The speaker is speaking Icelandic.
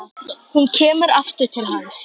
Hún kemur aftur til hans.